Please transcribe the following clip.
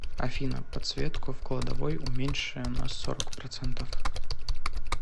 афина подсветку в кладовой уменьши на сорок процентов